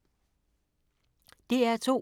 DR2